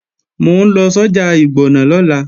Mò ń lọ sọ́jà ìgbọ̀nà lọ́la